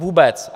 Vůbec.